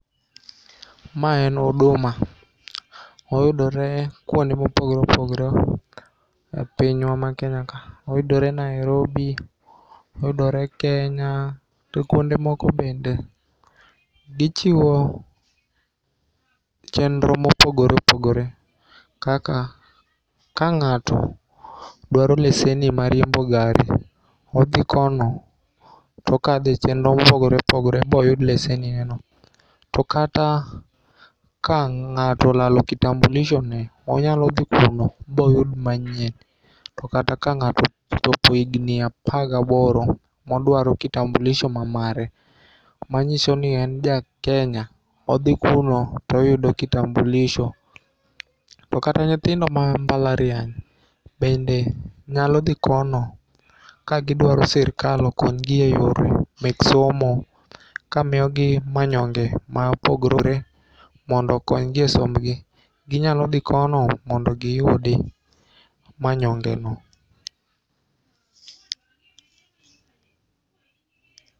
Mae en Huduma, oyudore kuond mopogore opogore, e pinywa Kenya ka, oyudore Nairobi, oyodore Kenya to kuonde moko bende. Gichiwo chendro mopogore opogore kaka ka ng'ato dwaro leseni mar riembo gari to odhi kono, to okathe e chendro mopogore opogore moyud lesenineno, to kata ka ng'ato olalo kitambulishoni onyalo thi kono ma oyud manyien, to kata ka ng'ato ochopo e higni apar gi aboro moduaro kitambulisho mamare manyiso ni en ja Kenya, othi kuno to oyudo kitambulisho, to kata nyithindo ma mbalariany bende nyalo thi kono, ka gi dwaro sirikal okonygie e yore meg somo kamiyogi manyong'e ma opogore mondo okonygie e sombgi, ginyalo thi kono mondo giyudi e manyong'eno